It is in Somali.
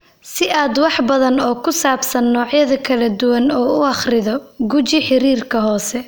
Si aad wax badan oo ku saabsan noocyada kala duwan u akhrido, guji xiriirinta hoose.